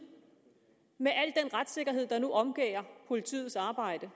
med al den retssikkerhed der nu omgærder politiets arbejde